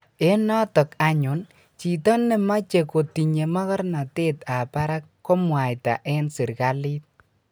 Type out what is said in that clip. Eng" notok anyun chito nemache kotinye magarnatet ab barak komwaita eng serikalit